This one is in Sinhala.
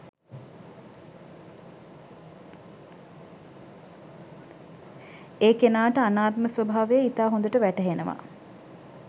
ඒ කෙනාට අනාත්ම ස්වභාවය ඉතා හොඳට වැටහෙනවා.